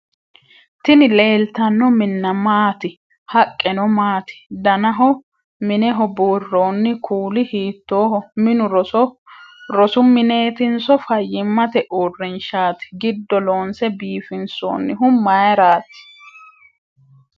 tini leeltanno minna maati haqqeno maati danaho mineho buurroonni kuuli hiittooho minu rosu mineetinso fayyimmate uurrinshshaati ?giddo loonse biifinsoonnihu mayraati?